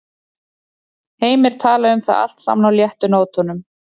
Heimir talaði um það allt saman á léttu nótunum.